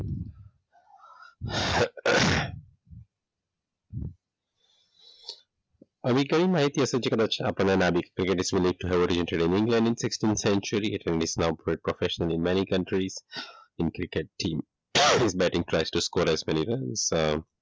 એવી કઈ માહિતી હશે જે કદાચ આપણને